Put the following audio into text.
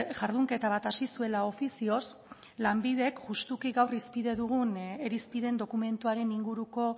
jardunketa bat hasi zuela ofizioz lanbidek justuki gaur hizpide dugun irizpideen dokumentuaren inguruko